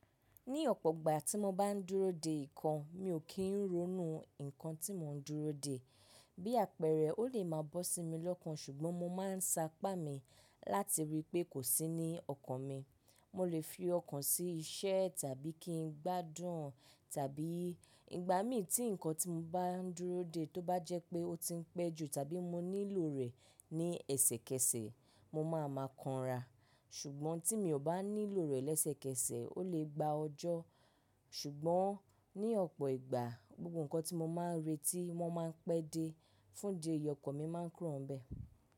Ní ọ̀pọ̀ gbà tí mo bá ń dúró de nǹkan, mi ò kí ń ronú nǹkan tí mò ń dúró de. Bí àpẹẹrẹ, ó lè máa bọ́ sí mi lọ́kàn ṣùgbọ́n mo máa ń saápàá mi láti rí i pé kò sí ní ọkàn mi. Mo lè fi ọkàn sí iṣẹ́ tàbí kí n gbádùn tàbí ìgbà mí tí nǹkan tí mo bá ń dúró de tó bá jẹ́ pé ó ti ń pẹ́ jù tàbí mo nílò rẹ̀ ní ẹsẹ̀kẹsẹ̀, mo máa ma kanra. Ṣùgbọ́n tí mi ò bá nílò rẹ̀ lẹ́sẹ̀kẹsẹ̀, ó lè gba ọjọ́. Ṣùgbọ́n ní ọ̀pọ̀ ìgbà, gbogbo nǹkan tí mo máa ń retí, wọ́n máa ń pẹ́ dé, fún idi ẹyi, ọkàn mi máa ń kúrò bẹ́ẹ̀.